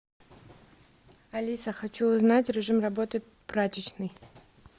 алиса хочу узнать режим работы прачечной